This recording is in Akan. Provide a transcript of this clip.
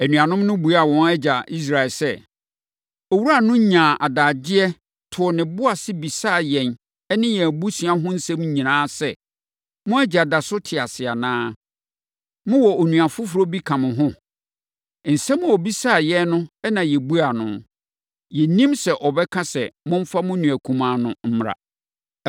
Anuanom no buaa wɔn agya Israel sɛ, “Owura no nyaa adagyeɛ, too ne bo ara bisaa yɛn ne yɛn abusuafoɔ ho nsɛm nyinaa sɛ, ‘Mo agya da so te ase anaa? Mowɔ onua foforɔ bi ka mo ho?’ Nsɛm a ɔbisaa yɛn no na yɛbuaa no. Na yɛnnim sɛ ɔbɛka se, ‘Momfa mo nua kumaa no mmra.’ ”